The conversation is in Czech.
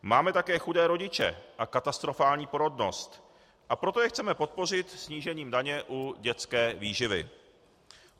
Máme také chudé rodiče a katastrofální porodnost, a proto je chceme podpořit snížením daně u dětské výživy.